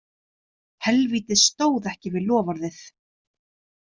Helvítið stóð ekki við loforðið.